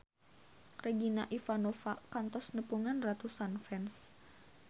Regina Ivanova kantos nepungan ratusan fans